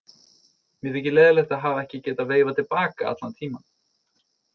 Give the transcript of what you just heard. Mér þykir leiðinlegt að hafa ekki getað veifað til baka allan tímann.